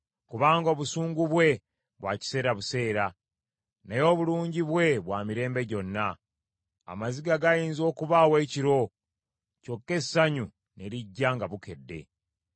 Kubanga obusungu bwe bwa kiseera buseera, naye obulungi bwe bwa mirembe gyonna. Amaziga gayinza okubaawo ekiro kyokka essanyu ne lijja nga bukedde.